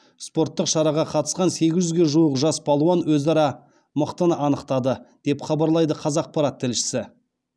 спорттық шараға қатысқан сегіз жүзге жуық жас палуан өзара мықтыны анықтады деп хабарлайды қазақпарат тілшісі